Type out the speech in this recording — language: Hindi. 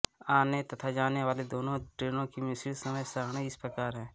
आने तथा जाने वाली दोनों ट्रेनों की मिश्रित समय सारणी इस प्रकार है